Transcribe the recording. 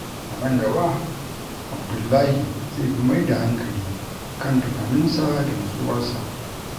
A nan gaba, Abdullahi zai fi mai da hankali kan tunaninsa da nutsuwarsa.